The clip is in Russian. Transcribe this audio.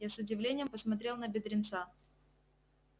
я с удивлением посмотрел на бедренца